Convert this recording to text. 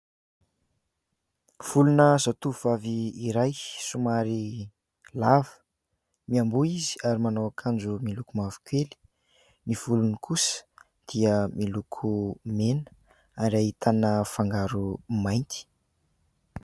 Volona zatovovavy iray somary lava. Mianboho izy ary manao akanjo miloko mavokely. Ny volony kosa dia miloko mena ary ahitana fangaro mainty.